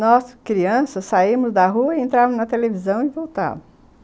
Nós, crianças, saímos da rua e entrávamos na televisão e voltávamos.